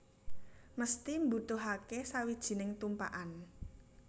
Mesthi mbutuhake sawijining tumpakan